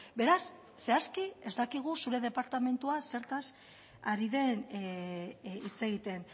beraz zehazki ez dakigu zure departamentuak zertaz ari den hitz egiten